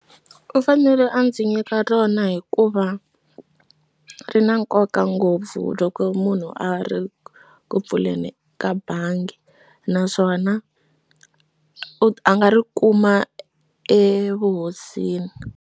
U fanele a ndzi nyika rona hikuva ri na nkoka ngopfu loko munhu a ri ku pfuleni ka bangi naswona u a nga ri kuma evuhosini.